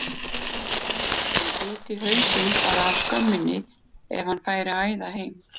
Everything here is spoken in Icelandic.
Hann biti hausinn bara af skömminni ef hann færi að æða heim.